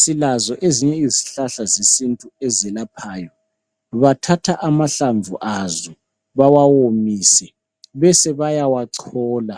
Silazo ezinye izihlahla zesintu ezelaphayo. Bathatha amahlamvu azo bawawomise bese bayawachola.